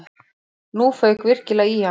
Nú fauk virkilega í hann.